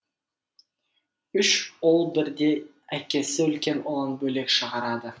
үш ұл бірде әкесі үлкен ұлын бөлек шығарады